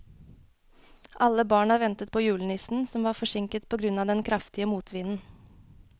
Alle barna ventet på julenissen, som var forsinket på grunn av den kraftige motvinden.